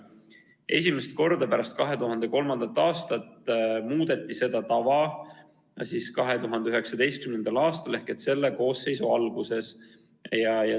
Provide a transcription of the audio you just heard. Esimest korda pärast 2003. aastat muudeti seda tava 2019. aastal ehk selle koosseisu alguses.